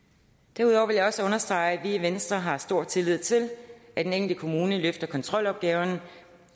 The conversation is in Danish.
derudover vil jeg også understrege at vi i venstre har stor tillid til at den enkelte kommune løfter kontrolopgaven